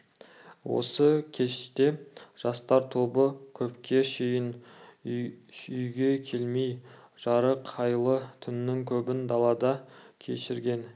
осы кеште жастар тобы көпке шейін үйге келмей жарық айлы түннің көбін далада кешірген